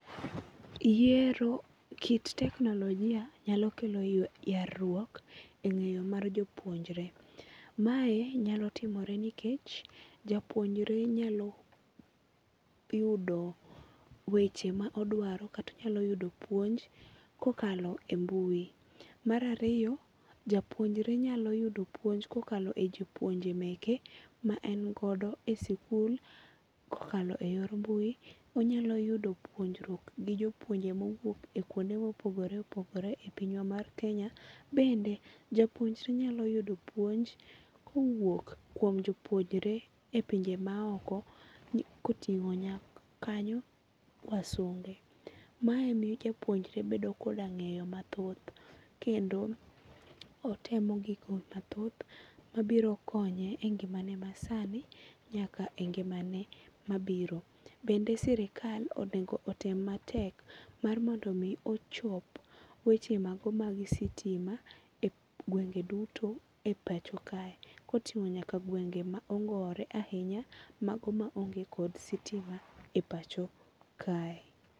Yiero kit teknologia nyalo kelo yarruok e ng'eyo mar jopuonjre. Mae nyalo timore nikech japuonjre nyalo yudo weche ma odwaro kata onyalo yudo puonj kokalo e mbui. Mar ariyo, japuonjre nyalo yudo puonj kokalo e jopuonje meke ma en godo e sikul kokalo e yor mbui, onyalo yudo puonjruok gi jopuonje mowuok e kuonde mopogore opogore e pinywa mar Kenya. Bende japuonjre nyalo yudo puonj kowuok kuom jopuonjre e pinje ma oko koting'o kanyo wasunge. Mae miyo japuonjre bedo koda ng'eyo mathoth kendo otemo gigo mathoth mabiro konye e ngimane ma sani nyaka e ngimane mabiro. Bende sirikal onego otem matek mar mondo mi ochop weche mago mag sitima e gwenge duto e pacho kae. Koting'o nyaka gwenge ma ongore ahinya mago ma onge kod sitima e pacho kae.